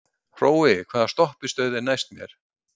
Hrói, hvaða stoppistöð er næst mér?